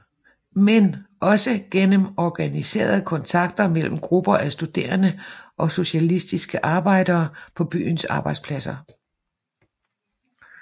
Men også gennem organiserede kontakter mellem grupper af studerende og socialistiske arbejdere på byens arbejdspladser